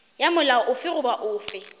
ya molao ofe goba ofe